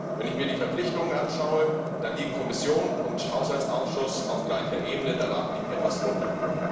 Wenn ich mir die Verpflichtungen anschaue, dann liegen Kommission und Haushaltsausschuss auf gleicher Ebene, der Rat liegt etwas darunter.